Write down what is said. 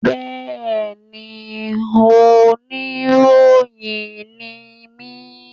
Bẹ́ẹ̀ni, oníròyìn ni mí